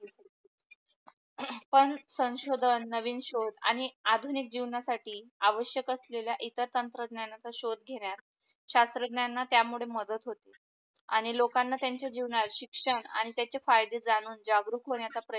पण संशोधन नवीन सोध आणि आधुनिक जिवणा साठी आवश्यक असलेल्या इतर तंत्रज्ञानाचा सोध घेण्यात शास्त्रज्ञा त्या मूळे मदत होते, आणि लोकांना त्यांच्या जीवनात शिक्षण आणि त्याचे फायदे जाणून जागरूक होण्याच्या प्रयत्न